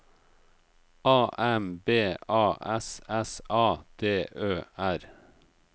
A M B A S S A D Ø R